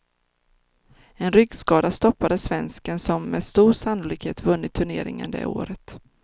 En ryggskada stoppade svensken som med stor sannolikhet vunnit turneringen det året.